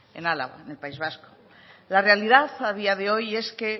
en álava en el país vasco la realidad a día de hoy es que